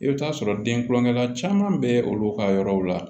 I bɛ t'a sɔrɔ den kulonkɛ la caman bɛ olu ka yɔrɔw la